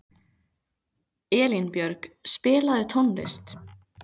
Elínbjörg, spilaðu tónlist.